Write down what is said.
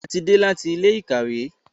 A tí dé láti Ilé-ìkàwé.